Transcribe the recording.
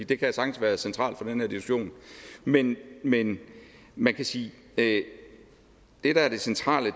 det kan sagtens være centralt for den her diskussion men men man kan sige at det der er det centrale i